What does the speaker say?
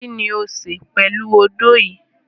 Kini o n ṣe pẹlu ódó yii?